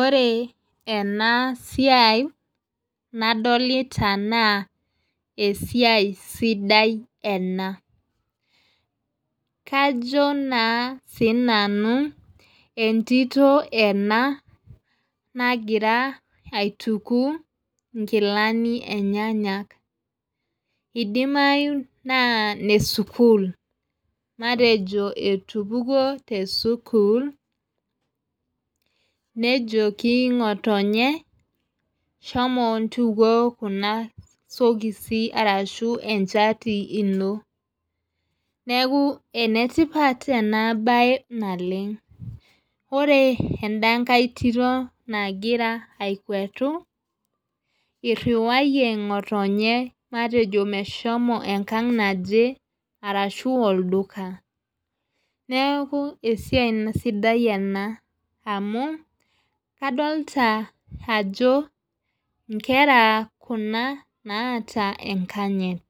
Ore ena siai naadolita naa esiai sidai ena, kajo naa sii nanu entito ena, nagira aitumia nkilani enyenak. idimayu naa ine sukuul. matejo etupukuo te sukuul, nejoki ngotonye shomo ntukuo Kuna sokisi arashu enchati ino. neeku ene tipat ena bae naleng .ore edankae Tito nagira akwetu. iriwayie ngotonye matejo meshomo enkang naje arashu olduka. neeku esiai sidai ena, amu kadolita, ajo nkera kina naata enkanyit.